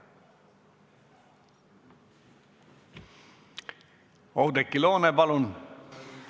Oudekki Loone, palun!